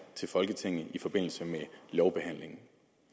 til folketinget i forbindelse med lovbehandlingen